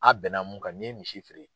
A' bɛnna mun kan n'i ye misi feere